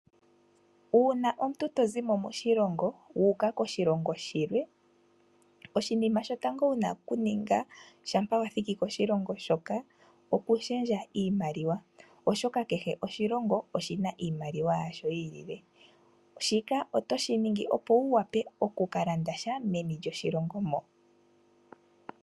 Uuna omuntu tozi mo moshilongo wuuka koshilongo shilwe oshinima shotango wuna kuninga shampa wa thiki koshilongo shoka okushendja iimaliwa oshoka kehe oshilongo oshina iimaliwa yasho yiilile. Shika otoshi ningi opo wuvule oku kalanda sha meni lyoshilongo.